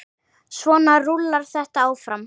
Svona rúllar þetta áfram.